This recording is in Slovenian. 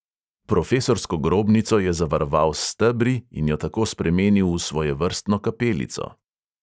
Profesorsko grobnico je zavaroval s stebri in jo tako spremenil v svojevrstno kapelico.